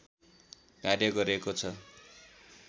कार्य गरेको छ